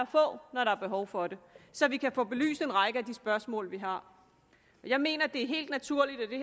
få når der er behov for det så vi kan få belyst en række af de spørgsmål vi har jeg mener det er helt naturligt at det